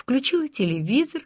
включила телевизор